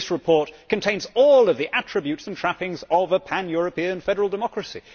This report contains all of the attributes and trappings of a pan European federal democracy.